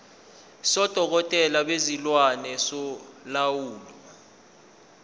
sodokotela bezilwane solawulo